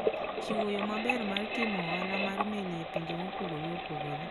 Ochiwo yo maber mar timo ohala mar meli e pinje mopogore opogore.